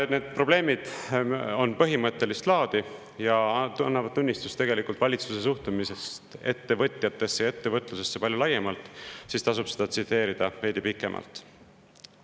Need probleemid on aga põhimõttelist laadi ja annavad tunnistust valitsuse suhtumisest ettevõtjatesse ja ettevõtlusesse palju laiemalt, nii et seda tasub tsiteerida veidi pikemalt.